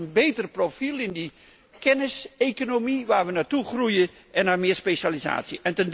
Het leidt tot een beter profiel in de kenniseconomie waar wij naartoe groeien en tot meer specialisatie.